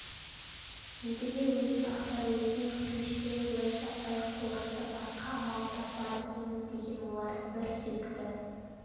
едіге өзін ақтар өзін кешірер уәж таппай қорынды басқа амалын таппады теңіз деген олардың бір сүйікті